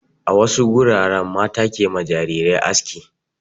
A wasu wuraren mata ke ma jarirai aski.